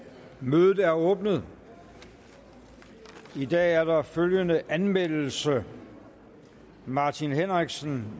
mødet er åbnet i dag er der følgende anmeldelse martin henriksen